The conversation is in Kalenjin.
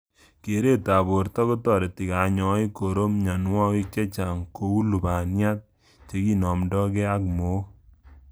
Keretab borto kotareti kanyoik koro mnyanwogik chechang kou lubaniat, chekinomndoikey ak mook